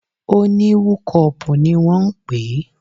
O ní wúkọpù ni wọ́n ń pè é.